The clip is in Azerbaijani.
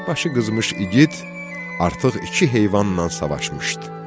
Başı qızmış igid artıq iki heyvanla savaşmışdı.